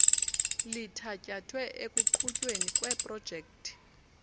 lithatyathwe ekuqhutyweni kweeprojekthi